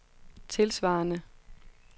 tilsvarende